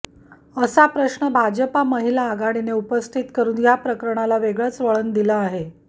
असा प्रश्न भाजपा महिला आघाडीने उपस्थित करून या प्रकरणाला वेगळंच वळण दिलं आहे